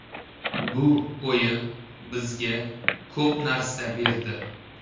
Bu o‘yin bizga ko‘p narsa berdi.